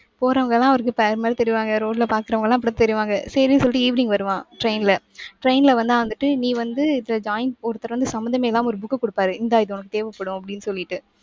போறவங்க எல்லாம் அவருக்கு pair மாதிரி தெரிவாங்க. road ல பாக்குறவங்க எல்லாம் அப்படித் தெரிவாங்க. சரின்னு சொல்லிட்டு evening வருவான் train ல. train ல வந்தா வந்துட்டு நீ வந்து இது joint ஒருத்தர் வந்து சம்பந்தமே இல்லாம ஒரு book குடுப்பாரு. இந்தா இது உனக்கு தேவைப்படும் அப்படின்னு சொல்லிட்டு